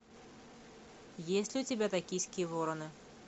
есть ли у тебя токийские вороны